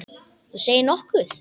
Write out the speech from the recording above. Þú segir nokkuð!